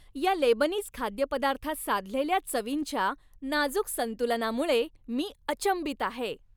या लेबनीज खाद्यपदार्थात साधलेल्या चवींच्या नाजूक संतुलनामुळे मी अचंबित आहे.